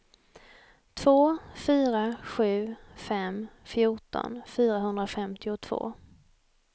två fyra sju fem fjorton fyrahundrafemtiotvå